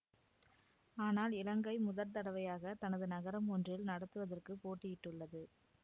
ஆனால் இலங்கை முதற் தடவையாக தனது நகரம் ஒன்றில் நடத்துவதற்குப் போட்டியிட்டுள்ளது